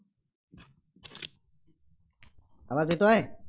आवाज येतोय?